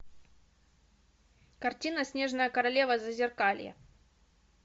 картина снежная королева зазеркалье